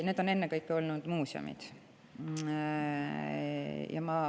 Need on ennekõike muuseumid.